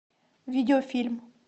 видеофильм